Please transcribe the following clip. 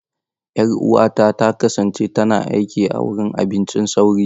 Yar'uwata ta kasance tana aiki a wurin abincin sauri.